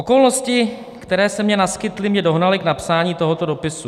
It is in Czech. "Okolnosti, které se mně naskytly, mě dohnaly k napsání tohoto dopisu.